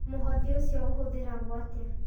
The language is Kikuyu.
Mũhothi ũcio ũhũthagĩrwo atĩa?